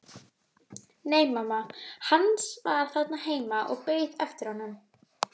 Nei, mamma hans var þarna heima og beið eftir honum.